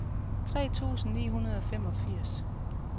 tre tusind ni hundrede og femogfirs